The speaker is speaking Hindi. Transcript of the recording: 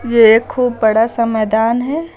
ये एक खूब बड़ा सा मैदान है।